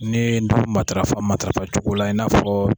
N'i ndomi matarafa matarafacogo la i n'a fɔ.